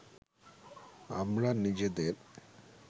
আমরা নিজেদের